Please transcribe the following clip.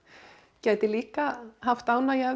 gæti líka haft ánægju af